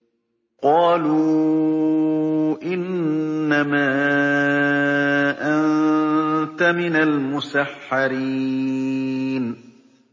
قَالُوا إِنَّمَا أَنتَ مِنَ الْمُسَحَّرِينَ